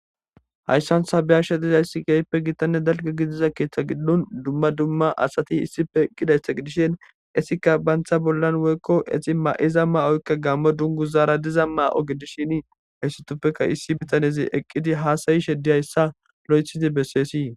Hayssansabiyashe diza issi geyippe gittanne dalga gidiza keeththa giddon dumma dumma asati issife gidaytha gidishin esikka bantha bollan woykko exi ma'iza ma'oykka gammo dungu zaara diza maa'o gidishin haysutupfeka issi bitanezi eqqidi haasayi she diyayssa lo'ethidi besseesii.